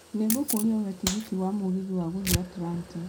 Nĩ ngũkũũria ũhe tigiti ya mũgithi ya gũthiĩ Atlanta